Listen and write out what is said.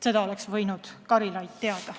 Seda oleks Karilaid võinud teada.